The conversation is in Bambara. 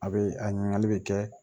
A bɛ a ɲininkali bɛ kɛ